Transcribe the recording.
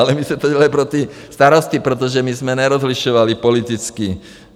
Ale my jsme to dělali pro ty starosty, protože my jsme nerozlišovali politicky.